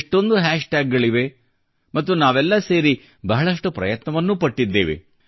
ಎಷ್ಟೊಂದು hashtag ಗಳಿವೆ ಮತ್ತು ನಾವೆಲ್ಲಾ ಸೇರಿ ಬಹಳಷ್ಟು ಪ್ರಯತ್ನವನ್ನೂ ಪಟ್ಟಿದ್ದೇವೆ